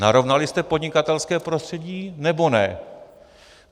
Narovnali jste podnikatelské prostředí, nebo ne?